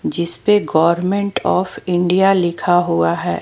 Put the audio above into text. जिस पर government of India लिखा हुआ है।